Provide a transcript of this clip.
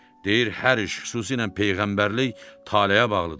Deyir hər iş, xüsusilə peyğəmbərlik taleyə bağlıdır.